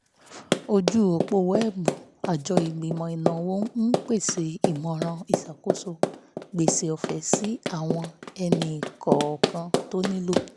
ojú òpó wẹ́ẹ̀bù àjọ ìgbìmọ̀ ìnáwó ń pèsè ìmọ̀ràn ìṣàkóso gbèsè ọ̀fẹ́ sí àwọn ẹni-kọ̀ọ̀kan tó nílò